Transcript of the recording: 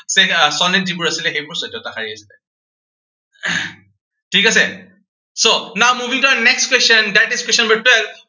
ঠিক আহ সনেট যিবোৰ আছিলে, সেইবোৰ চৈধ্যটা শাৰীৰ আছিলে। ঠিক আছে, so moving to our next question, that is question number twelve